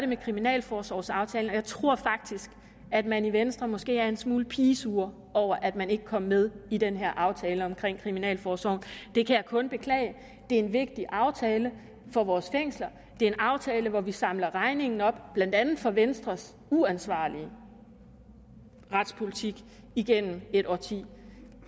med kriminalforsorgsaftalen og jeg tror faktisk at man i venstre måske er en smule pigesur over at man ikke kom med i den her aftale om kriminalforsorgen det kan jeg kun beklage det er en vigtig aftale for vores fængsler det er en aftale hvor vi samler regningen op blandt andet for venstres uansvarlige retspolitik igennem et årti